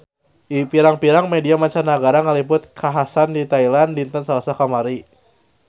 Pirang-pirang media mancanagara ngaliput kakhasan di Thailand dinten Salasa kamari